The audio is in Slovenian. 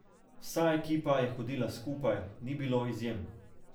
Vsa ekipa je hodila skupaj, ni bilo izjem.